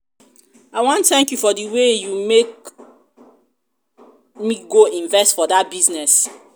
i wan thank you for the way you make me go invest for dat business. um